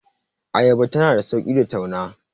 ayaba tana da sauki tauna